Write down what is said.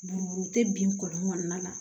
Buruburu tɛ bin kɔli kɔnɔna na